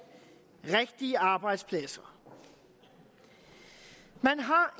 rigtige arbejdspladser man har